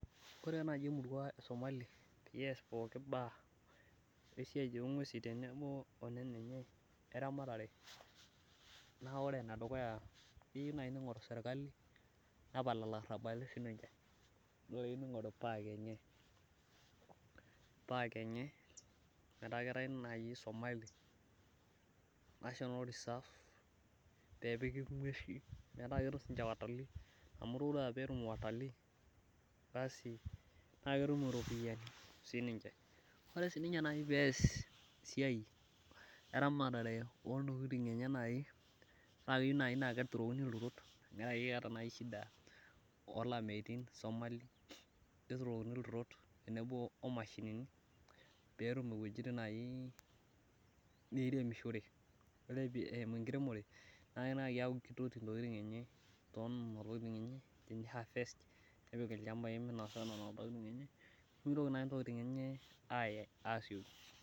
Ore naaji emurua esomali peyie ees pooki baa ongwesin tenebo weramatare enye, naa ore naaji enedukuya keyieu neingoru sirkali nepal ilarabali siininche. Neing'oru park enye metaa naaji keeta somali national reserve nepiki ng'wesin pee etum sii ninche watalii amu todua pee etum watalii, naa ketum ropiyiani siininche. Ore sii naaji pee ees esiai eramatare ontokiting' enye naaji naa keyieu naaji naa keturokini ilturotamu keeta naa akeyie shida olameitin somali, neturokini ilturot omashinini pee etum naaji wejitin neiremishore. Ore eimu enkiremore naa keeku keitoki ntokiting enye tonena tokiting nepiki ilchampai naihafest nepiki minosa nena tokiting .Nimitoki naaji ntokiting enye aaye asioki.